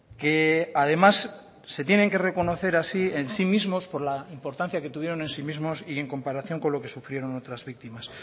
que además se tienen que reconocer así en sí mismos por la importancia que tuvieron en sí mismos y en comparación con lo que sufrieron otras víctimas